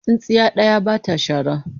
Tsintsiya ɗaya ba ta shara.